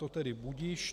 To tedy budiž.